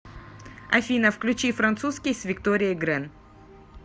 афина включи французский с викторией грэн